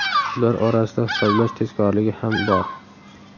Ular orasida hisoblash tezkorligi ham bor.